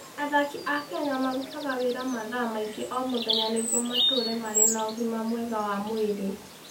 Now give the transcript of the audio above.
Athaki a Kenya merutaga wĩra mathaa maingĩ o mũthenya nĩguo matũũre marĩ na ũgima mwega wa mwĩrĩ.